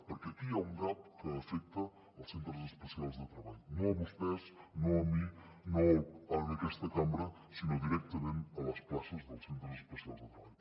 perquè aquí hi ha un gap que afecta els centres especials de treball no a vostès no a mi no a aquesta cambra sinó directament les places dels centres especials de treball